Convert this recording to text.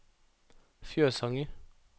Fjøsanger